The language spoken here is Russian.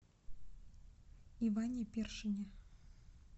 иване першине